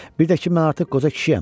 Bir də ki mən artıq qoca kişiyəm.